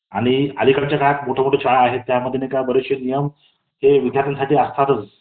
आणि अलीकडच्या काळात मोठमोठ्या शाळेत आहेत, त्याबद्दल बरेचसे नियम हे विद्यर्थ्यांनसाठी असतातच .